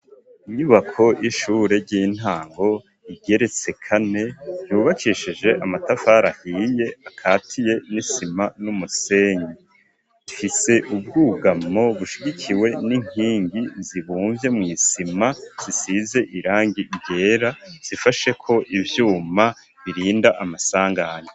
Inyubako y'ishure ry'intango, igeretse kane yubakishije amatafari ahiye akatiye n'isima n'umusenyi, ifise ubwugamo bushigikiwe n'inkingi zibumvye mw’isima, zisize irangi ryera zifasheko ivyuma birinda amasanganya.